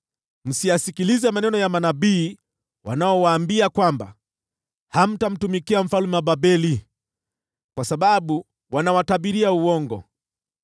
Msiyasikilize maneno ya manabii wanaowaambia kwamba, ‘Hamtamtumikia mfalme wa Babeli,’ kwa sababu wanawatabiria uongo.